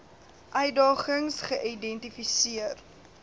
uitdagings geïdenti seer